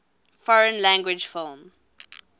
foreign language film